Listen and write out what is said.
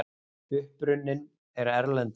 Uppruninn er erlendur.